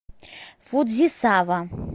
фудзисава